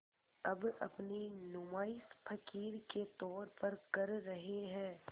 अब अपनी नुमाइश फ़क़ीर के तौर पर कर रहे हैं